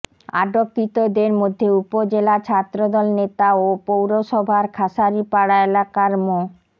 আটককৃতদের মধ্যে উপজেলা ছাত্রদল নেতা ও পৌরসভার খাসাড়িপাড়া এলাকার মো